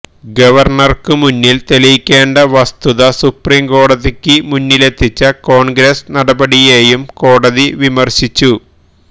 ഗവര്ണര്ക്ക് മുന്നില് തെളിയിക്കേണ്ട വസ്തുത സുപ്രീംകോടതിക്ക് മുന്നിലെത്തിച്ച കോണ്ഗ്രസ് നടപടിയേയും കോടതി വിമര്ശിച്ചു